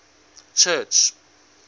church